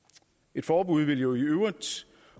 et forbud ville jo i øvrigt